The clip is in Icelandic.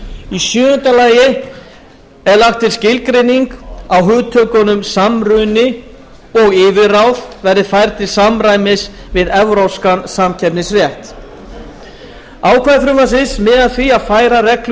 í sjöunda lagi er lagt til að skilgreining á hugtökunum samruni og yfirráð verði færð til samræmis við evrópskan samkeppnisrétt ákvæði frumvarpsins miða að því að færa reglur